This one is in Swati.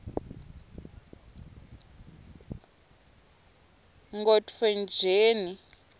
nkhotfwetjeni